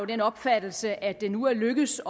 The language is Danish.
den opfattelse at det nu er lykkedes